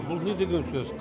бұл не деген сөз